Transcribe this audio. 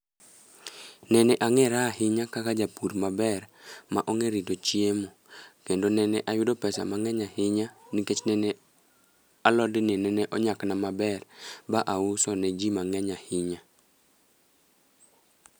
Nene ang'era ahinya kaka japur maber ma ong'e rito chiemo, kendo nene ayudo pesa mang'eny ahinya. Nikech nene alodni nene onyak na maber ma auso ne ji mang'eny ahinya.